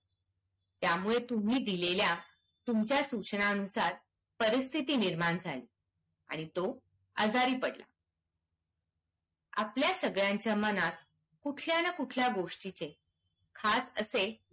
त्यामुळे तुम्ही दिलेल्या तुमच्या सूचनांनुसार परिस्थिति निर्माण झाली आणि तो आजारी पडला आपल्या सगळ्यांच्या मनात कुठल्या न कुठल्या गोस्टिचे खास असे